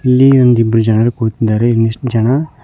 ಇಲ್ಲಿ ಒಂದ ಇಬ್ಬರ ಜನರು ಕುಳಿತಿದ್ದಾರೆ ಇನ್ನಿಸ್ಟ ಜನ--